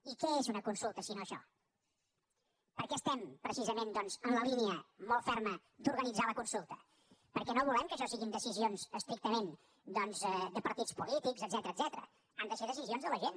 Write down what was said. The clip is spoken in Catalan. i què és una consulta sinó això per què estem precisament doncs en la línia molt ferma d’organitzar la consulta perquè no volem que això siguin decisions estrictament doncs de partits polítics etcètera etcètera han de ser decisions de la gent